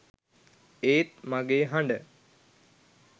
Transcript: ඒත් මගේ හඬ